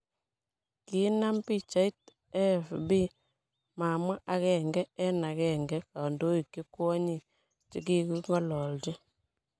Kiinam pichait, AFP mamwaa aenge en aenge kandoik che kwonyik cheging'olochin.